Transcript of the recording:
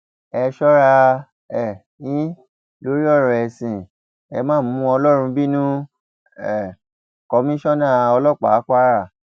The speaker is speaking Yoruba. ẹ sọra um yín lórí ọrọ ẹsìn ẹ ma mú ọlọrun bínú um o komisanna ọlọpàá kwara